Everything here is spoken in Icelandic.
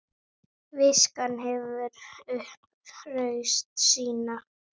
Viskan hefur upp raust sína.